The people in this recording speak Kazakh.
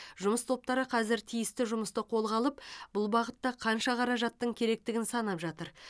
жұмыс топтары қазір тиісті жұмысты қолға алып бұл бағытта қанша қаражаттың керектігін санап жатыр